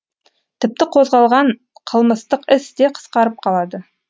тіпті қозғалған қылмыстық іс те қысқарып қалады